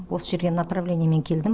осы жерге направлениемен келдім